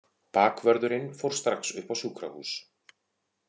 Bakvörðurinn fór strax upp á sjúkrahús.